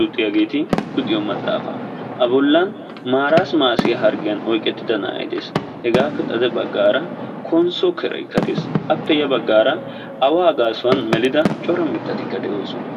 luxiyaageti luxiyoo maxaafaa. a bollan marasimassiyaa yaagiyoo harggiyaan oyqettida na'ay de'ees. hegaappe xade baggaara konsso keraykka de'ees. appe ya baggaara awaa melida cora mittatikka de'oosona.